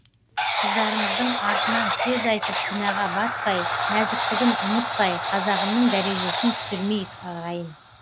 қыздарымыздың артынан сөз айтып күнәға батпай нәзіктігін ұмытпай қазағымның дәрежесін түсірмейік ағайын